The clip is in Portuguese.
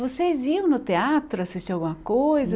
Vocês iam no teatro assistir alguma coisa?